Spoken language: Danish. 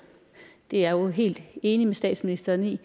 det er jeg jo helt enig med statsministeren i at